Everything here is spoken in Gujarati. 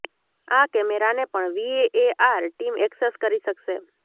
આ કેમેરાને પણ વીએઆર ટીમ એક્સેસ કરી શકશે